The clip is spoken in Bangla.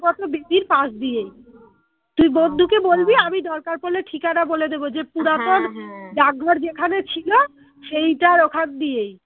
বেদির পাশ দিয়েই তুই আমি দরকার পড়লে ঠিকানা বলে দেব যে ডাকঘর যেখানে ছিল সেইটার ওখান দিয়েই